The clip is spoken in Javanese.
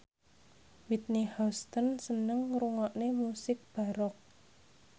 Whitney Houston seneng ngrungokne musik baroque